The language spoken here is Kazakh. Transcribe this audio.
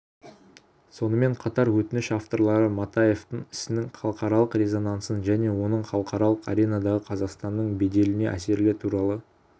сонымен қатар өтініш авторлары матаевтың ісінің халықаралық резонансын және оның халықаралық аренадағы қазақстанның беделіне әсері туралы